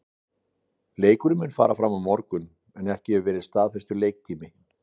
Leikurinn mun fara fram á morgun en ekki hefur verið staðfestur leiktími.